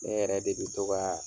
Ne yɛrɛ de bɛ to ka